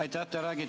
Aitäh!